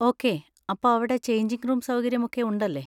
Okay, അപ്പോ അവിടെ changing room സൗകര്യം ഒക്കെ ഉണ്ടല്ലേ.